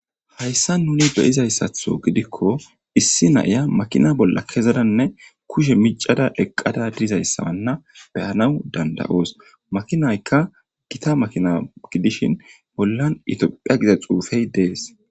hayssa nuni be'izayssatho gidikko issi na"iya makina bolla kezadanne kushe micada eqqada dizayssawanna beyanawu danda'oos makinaykka gita makina gidishin bollan itophiya giza xuufey dees